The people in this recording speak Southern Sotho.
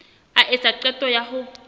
a etsa qeto ya ho